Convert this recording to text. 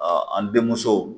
an denmuso